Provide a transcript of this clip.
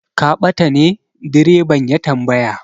Ka bata ne? direban ya tambaya.